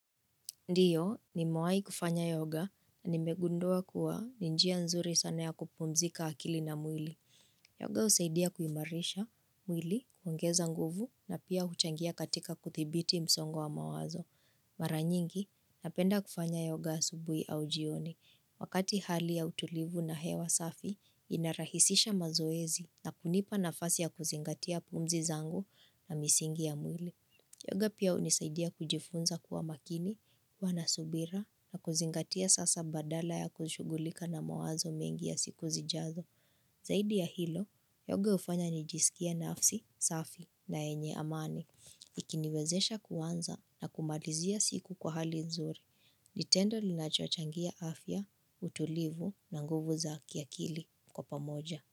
Ndiyo, nimewai kufanya yoga na nimegundua kuwa ni njia nzuri sana ya kupumzika akili na mwili. Yoga usaidia kuimarisha mwili, kuongeza nguvu na pia huchangia katika kuthibiti msongo wa mawazo. Mara nyingi, napenda kufanya yoga asubui au jioni. Wakati hali ya utulivu na hewa safi inarahisisha mazoezi na kunipa nafasi ya kuzingatia pumzi zangu na misingi ya mwili. Yoga pia unisaidia kujifunza kuwa makini, kuwa na subira na kuzingatia sasa badala ya kushugulika na mawazo mengi ya siku zijazo. Zaidi ya hilo, yoga ufanya nijisikie nafsi safi na yenye amani. Ikiniwezesha kuanza na kumalizia siku kwa hali nzuri ni tendo linachochangia afya, utulivu na nguvu za kiakili kwa pamoja.